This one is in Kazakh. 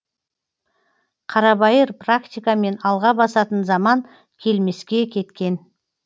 қарабайыр практикамен алға басатын заман келмеске кеткен